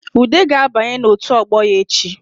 Ude ga-abanye n’otu ọgbọ ya echi